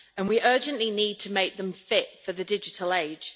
We urgently need to make them fit for the digital age.